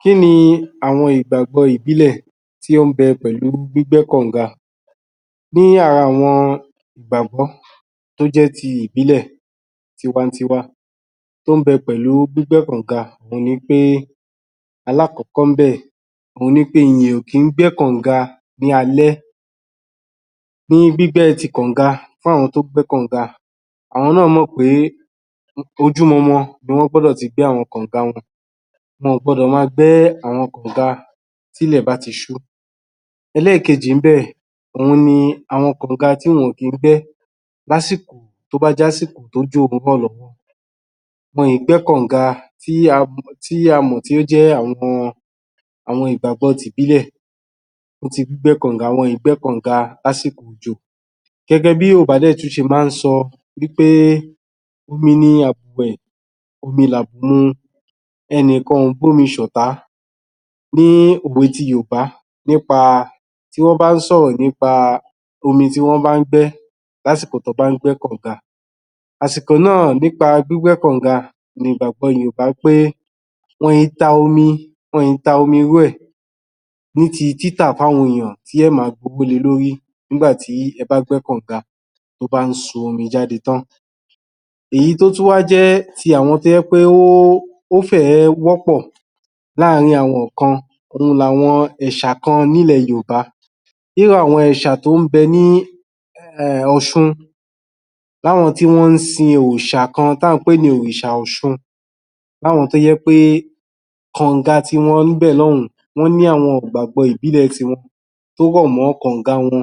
Kí ni àwọn ìgbàgbọ́ ìbílẹ̀ tí ó ń bẹ pẹ̀lú gbígbẹ́ kànga ní ara àwọn ìgbàgbọ́ tó jẹ́ ti ìbílẹ̀ tiwa-n-tiwa tó ń bẹ pẹ̀lú gbígbẹ́ kànga òun ni pé Alákọ̀ọ́kọ́ níbẹ̀ òun ni pé èèyàn kì í gbẹ́ kànga ní alẹ́ ní gbígbẹ́ ti kànga fún àwọn tó ń gbẹ́ kànga àwọn náà mọ̀ pé ojúmọmọ ni wọ́n gbọ́dọ̀ ti gbẹ́ àwọn kànga wọn wọn ò gbọdọ̀ máa gbẹ́ kànga tí ilẹ̀ bá ti ṣú ẹlẹ́ẹ̀kejì níbẹ̀ òun ni àwọn kànga tí wọn kì í gbẹ́ lásìkò tó bá jẹ́ àsìkò tí ojò ń rọ̀ lọ́wọ́ wọn kì í gbẹ́ kànga tí a mọ̀ tí ó jẹ́ àwọn àwọn ìgbàgbọ́ ti ìbílẹ̀ bí wọ́n ti ń gbẹ́ kànga, wọn kì í gbẹ́ kànga lásìkò òjò gẹ́gẹ́ bí yorùbá dẹ̀ tún ṣe máa ń sọ wí pé omi ni àbù wẹ̀ omi làbù mu ẹnikan kì í bọ́mi ṣọ̀tá pé òwe ti yorùbá nípa tí wọ́n bá ń sọ̀rọ̀ nípa omi tí wọ́n bá ń gbẹ́ lásìkò tí wọ́n bá ń gbẹ́ kànga àsìkò náà nípa gbígbẹ́ kànga ni ìgbàgbọ yorùbá pé wọn kì í ta omi wẹ̀ ní ti títà fún àwọn èèyàn tí wọn ó ma gbé owó le lórí nígbà tí ẹ bá gbẹ́ kànga tí bá ń sun omi jáde tán èyí tó tún wá jẹ́ ti àwọn tó jẹ́ pé ó fẹ́ ẹ̀ wọ́ pọ̀ láàrín àwọn kan òun ni àwọn ẹ̀ṣà kan ní ilẹ̀ yorùbá irú àwọn ẹ̀ṣà tó ń bẹ ní ọ̀ṣun láwọn tí wọ́n ń sin òrìṣà kan tí à ń pè ní òrìṣà ọ̀ṣun láwọn tó jẹ́ pé kànga tiwọn níbẹ̀ lọ́hùn ó ní àwọn ìgbàgbọ́ ìbílẹ̀ tiwọn tó rọ̀ mọ́ àwọn kànga wọn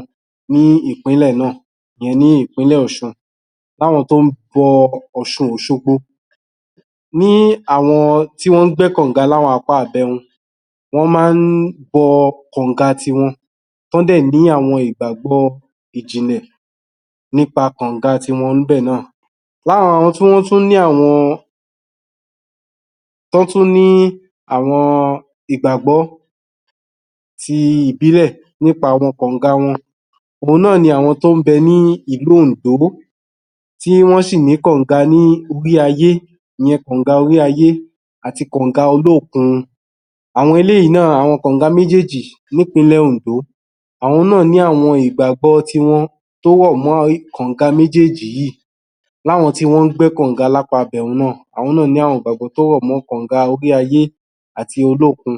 ní ìpínlẹ̀ náà ìyẹn ní ìpínlẹ̀ ọ̀ṣun láwọn tó ń bọ ọ̀ṣun òṣogbo ní àwọn tí wọ́n ń gbẹ́ kànga ní apá ibẹ̀hun wọ́n máa ń bọ kànga tiwọn tí wọ́n dẹ̀ ní àwọn ìgbàgbọ́ tó jinlẹ̀ nípa kànga tiwọn níbẹ̀ náà lára àwọn tí wọ́n tún ní àwọn tí wọ́n tún ní àwọn ìgbàgbọ́ ti ìbílẹ̀ nípa kànga wọn àwọn náà ni àwọn tó ń bẹ ní ìlú Òǹdó tí wọ́n ṣì ní kànga ní orí ayé ìyẹn kànga orí ayé àti kànga olókun àwọn eléyìí náà, àwọn kànga méjèèjì ní ìpínlẹ̀ Òǹdó àwọn náà ní ìgbàgbọ́ tiwọn tó rọ̀ mọ́ kànga méjèèjì yìí láwọn tí wọ́n ń gbẹ́ kànga lápa ibẹ̀hun náà àwọn náá̀ ní àwọn ìgbàgbọ́ tó rọ̀ mọ́ kànga orí ayé àti olókun